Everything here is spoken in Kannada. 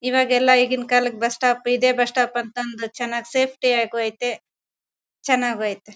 ಇವಾಗೆಲ್ಲ ಈಗಿನ ಕಾಲಕ್ಕೆ ಬಸ್ಸ ಸ್ಟಾಪ್ ಇದೆ ಬಸ್ಸ ಸ್ಟಾಪ್ ಅಂತ ಅಂದು ಚೆನ್ನಾಗ್ ಸೇಫ್ಟಿ ಅಗು ಐತೆ ಚೆನ್ನಾಗೂ ಐತೆ.